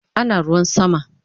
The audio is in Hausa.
Ana ruwan sama